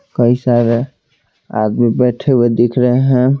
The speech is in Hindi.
कई सारे आदमी बैठे हुए दिख रहे हैं।